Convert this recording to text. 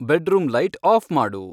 bedroom light off ಮಾಡು